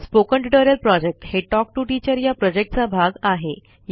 spoken tutorial project हे talk to teacher या प्रॉजेक्टचा भाग आहे